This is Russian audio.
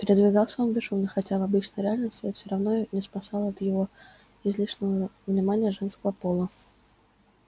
передвигался он бесшумно хотя в обычной реальности это всё равно не спасало от его излишнего внимания женского пола